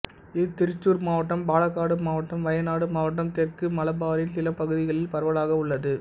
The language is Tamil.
இது திருச்சூர் மாவட்டம் பாலக்காடு மாவட்டம் வயநாடு மாவட்டம் தெற்கு மலபாரின் சில பகுதிகளில் பரவலாக உள்ளது